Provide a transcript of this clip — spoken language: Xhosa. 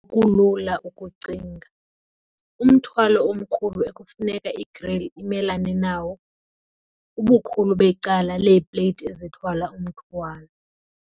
Njengoko kulula ukucinga, umthwalo omkhulu ekufuneka i-grill imelane nayo, ubukhulu becala leeplate ezithwala umthwalo.